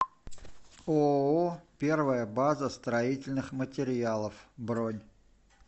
ооо первая база строительных материалов бронь